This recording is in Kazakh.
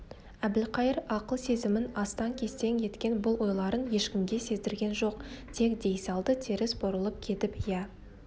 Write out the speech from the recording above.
әбілқайыр ақыл-сезімін астаң-кестең еткен бұл ойларын ешкімге сездірген жоқ тек дей салды теріс бұрылып кетіп иә